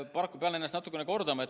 Paraku pean ennast natukene kordama.